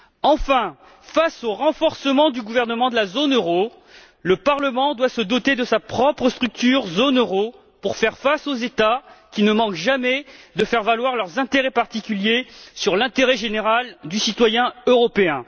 Enfin, face au renforcement du gouvernement de la zone euro, le Parlement doit se doter de sa propre structure zone euro pour faire face aux États qui ne manquent jamais de faire prévaloir leurs intérêts particuliers sur l'intérêt général du citoyen européen.